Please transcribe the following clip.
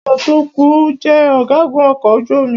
Kí ó tó kù,o jẹ ọ̀gágun ọkọ̀ ojú omi.